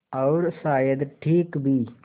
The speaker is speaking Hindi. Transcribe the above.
और शायद ठीक भी